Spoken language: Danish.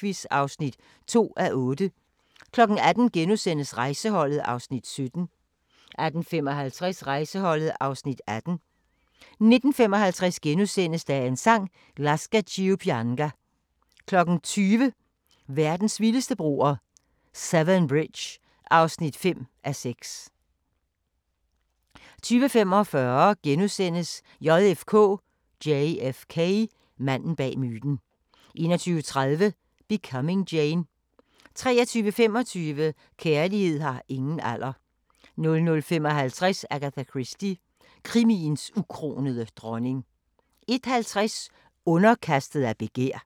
17:00: Den klassiske musikquiz (2:8) 18:00: Rejseholdet (Afs. 17)* 18:55: Rejseholdet (Afs. 18) 19:55: Dagens Sang: Lascia ch'io pianga * 20:00: Verdens vildeste broer – Severn Bridge (5:6) 20:45: JFK: Manden bag myten * 21:30: Becoming Jane 23:25: Kærlighed har ingen alder 00:55: Agatha Christie – krimiens ukronede dronning 01:50: Underkastet af begær